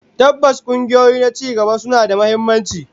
Tabbas, kungiyoyi na cigaba suna da muhimmanci